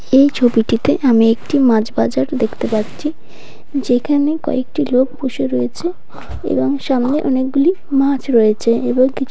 এই ছবিটিতে আমি একটি মাছ বাজার দেখতে পাচ্ছি যেখানে কয়েকটি লোক বসে রয়েছে এবং সামনে অনেকগুলি মাছ রয়েছে এবং কিছু--